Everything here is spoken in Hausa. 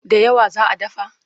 Da yawa za a dafa?